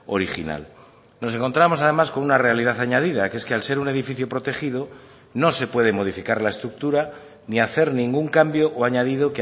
original nos encontramos además con una realidad añadida que es que al ser un edificio protegido no se puede modificar la estructura ni hacer ningún cambio o añadido